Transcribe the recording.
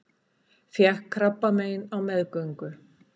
Fékk krabbamein á meðgöngu